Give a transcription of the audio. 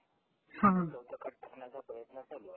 हां